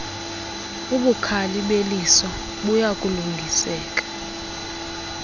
ubukhali beliso buyalungiseka